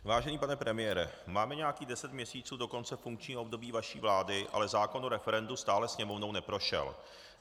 Vážený pane premiére, máme nějakých deset měsíců do konce funkčního období vaší vlády, ale zákon o referendu stále Sněmovnou neprošel.